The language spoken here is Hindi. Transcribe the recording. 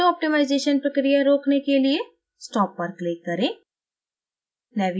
auto optimization प्रक्रिया रोकने के लिए stop पर click करें